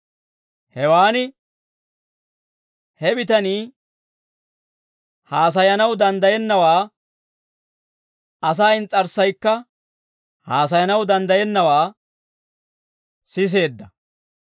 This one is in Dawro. Hewan he bitanii Asay haasayanaw danddayennawaa, asaa ins's'arssaykka haasayanaw danddayennawaa siseedda.